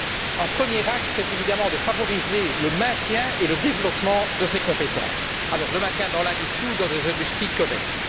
Donc, un premier axe est évidemment de favoriser le maintien et le développement de ces compétences, dans l'industrie ou dans des industries connexes.